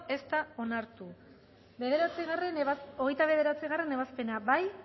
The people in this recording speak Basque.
ez da onartu hogeita bederatzigarrena ebazpena bozkatu